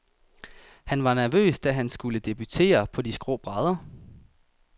Han var nervøs, da han skulle debutere på de skrå brædder.